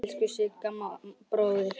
Elsku Siggi bróðir.